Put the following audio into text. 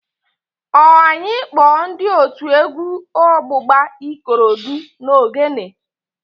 Ọ anyị kpọọ ndị otu egwu ọgbụgba Ikorodu na Ogene?